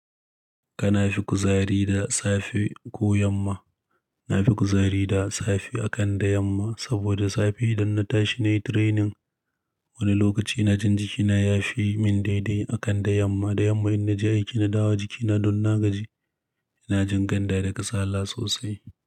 Kana fi kuzari da safe ko yamma? Na fi kuzari da safe akan da yamma. Saboda safe idan na tashi na yi training, wani lokaci ina jin jikina ya fi min daidai akan da yamma. Da yamma in na je aiki na dawo jikina don na gaji, ina jin ganda da kasala sosai.